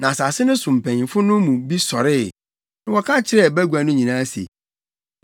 Na asase no so mpanyimfo no mu bi sɔree, na wɔka kyerɛɛ bagua no nyinaa se,